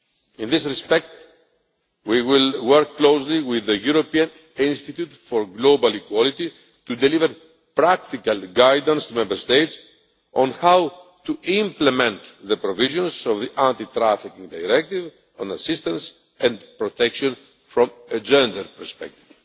actions. In this respect, we will work closely with the European Institute for Gender Equality to deliver practical guidance to Member States on how to implement the provisions of the Anti trafficking Directive on assistance and protection from a gender perspective.